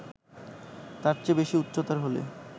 তার চেয়ে বেশি উচ্চতার হলে